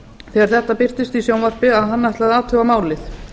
þegar þetta birtist í sjónvarpi að hann ætlaði að athuga málið